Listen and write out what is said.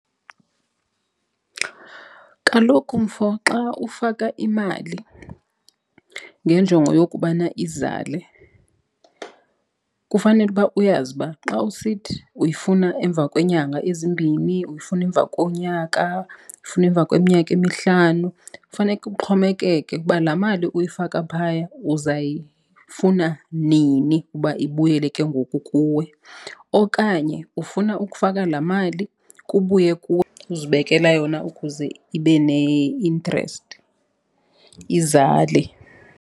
Kaloku, mfo, xa ufaka imali ngenjongo yokubana izale kufanele uba uyazi uba xa usithi uyifuna emva kweenyanga ezimbini, uyifuna emva konyaka uyifuna emva kweminyaka emihlanu. Fane kuxhomekeke ukuba laa mali uyifaka phaya uzayifuna nini uba ibuyele ke ngoku kuwe. Okanye ufuna ukufaka laa mali kubuye kuwe uzibekela yona ukuze ibe ne-interest, izale.